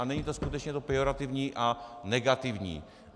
A není to skutečně to pejorativní a negativní.